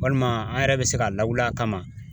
Walima an yɛrɛ bɛ se ka lawuli a kama.